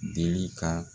Deli ka